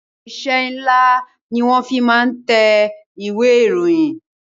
Irinsẹ́ ńlá ni wọn fi máa ń tẹ ìwé ìròyìn